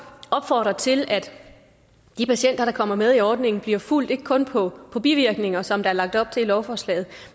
opfordre til at de patienter der kommer med i ordningen bliver fulgt ikke kun på bivirkninger som der er lagt op til i lovforslaget